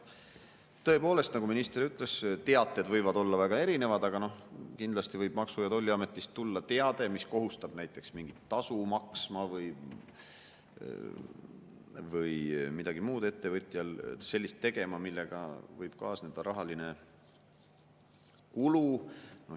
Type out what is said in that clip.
Tõepoolest, nagu minister ütles, teated võivad olla väga erinevad, aga kindlasti võib Maksu‑ ja Tolliametist tulla teade, mis kohustab näiteks mingit tasu maksma või ettevõtjat midagi muud sellist tegema, millega võib kaasneda rahaline kulu.